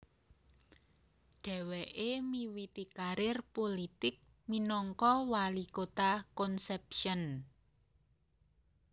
Dheweke miwiti karir pulitik minangka wali kota Concepcion